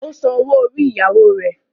Ó san owó orí ìyàwó rẹ̀.